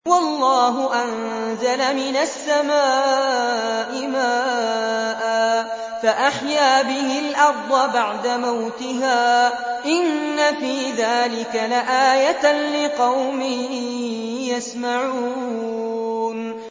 وَاللَّهُ أَنزَلَ مِنَ السَّمَاءِ مَاءً فَأَحْيَا بِهِ الْأَرْضَ بَعْدَ مَوْتِهَا ۚ إِنَّ فِي ذَٰلِكَ لَآيَةً لِّقَوْمٍ يَسْمَعُونَ